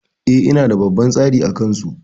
E, ina da babban tsari a kansu.